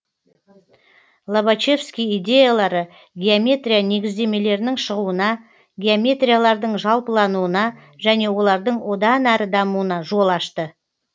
лобачевский идеялары геометрия негіздемелерінің шығуына геометриялардың жалпылануына және олардың одан әрі дамуына жол ашты